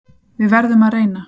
Við verðum að reyna